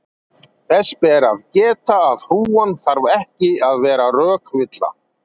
þess ber að geta að hrúgan þarf ekki að vera rökvilla